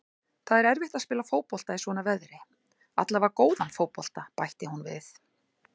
Það er erfitt að spila fótbolta í svona veðri, allavega góðan fótbolta, bætti hún við.